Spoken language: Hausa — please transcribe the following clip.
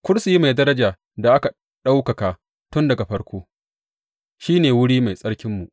Kursiyi mai daraja, da aka ɗaukaka tun daga farko, shi ne wuri mai tsarkinmu.